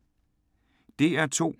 DR2